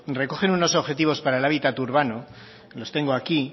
recogen unos objetivos para el hábitat urbano los tengo aquí